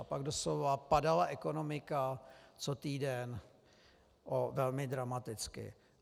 A pak doslova padala ekonomika co týden velmi dramaticky.